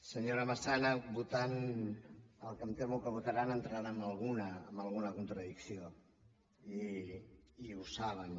senyora massana votant el que em temo que votaran entraran en alguna contradicció i ho saben